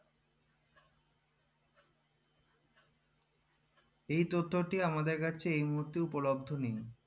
এই তথ্যটি আমাদের কাছে এই মুহূর্তে উপলব্দ নেই